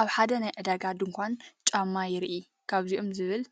ኣብ ሓደ ናይ ዕዳጋ ድኳን ጫማ የርኢ። ከምዚኦም ዝበሉ